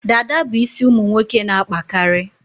Dada bụ isi ụmụ nwoke n'akpakarị